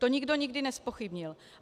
To nikdo nikdy nezpochybnil.